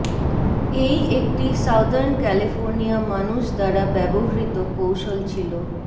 এই একটি southern California মানুষ দ্বারা ব্যবহৃত কৌশল ছিল